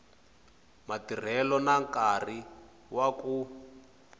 matirhelo na nkarhi wa ku